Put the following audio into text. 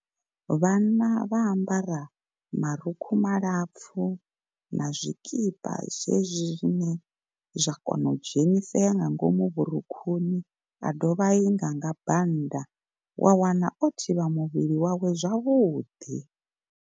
Vhanna vha ambara marukhu malapfu na zwikipa zwezwi zwine zwa kona u dzhenisela nga ngomu vhurukhuni, a dovha a inga nga bannda wa wana o thivha muvhili wawe zwavhuḓi.